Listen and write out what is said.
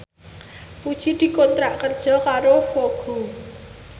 Puji dikontrak kerja karo Vogue